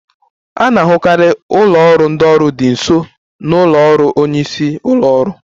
A na-ahụkarị ụlọ ọrụ ndị ọrụ dị nso na ụlọ ọrụ onye isi ụlọ ọrụ